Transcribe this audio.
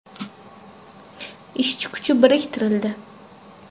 Ishchi kuchi biriktirildi.